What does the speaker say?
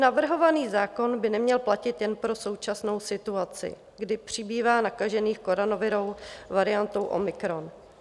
Navrhovaný zákon by neměl platit jen pro současnou situaci, kdy přibývá nakažených koronavirovou variantou omikron.